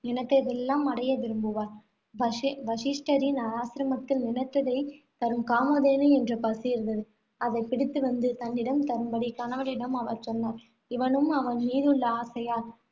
நினைத்ததையெல்லாம் அடைய விரும்புவாள். வசி~ வசிஷ்டரின் ஆசிரமத்தில் நினைத்ததை தரும் காமதேனு என்ற பசு இருந்தது. அதைப் பிடித்து வந்து தன்னிடம் தரும்படி கணவனிடம் அவள் சொன்னாள். இவனும் அவள் மீதுள்ள ஆசையால்,